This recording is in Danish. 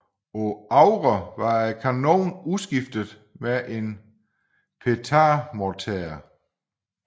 På AVRE var kanonen udskiftet med en Petard morter